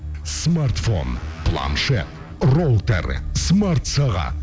смартфон планшет роутер смартсағат